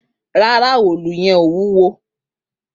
Rara, òòlú yen ò wúwo